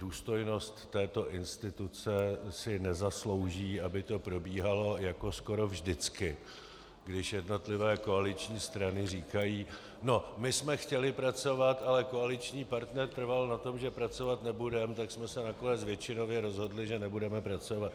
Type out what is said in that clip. Důstojnost této instituce si nezaslouží, aby to probíhalo jako skoro vždycky, když jednotlivé koaliční strany říkají: no, my jsme chtěli pracovat, ale koaliční partner trval na tom, že pracovat nebudeme, tak jsme se nakonec většinově rozhodli, že nebudeme pracovat.